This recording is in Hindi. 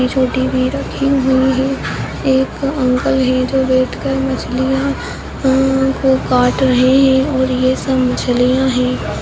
काट रहे है और ये सब मछलियां है।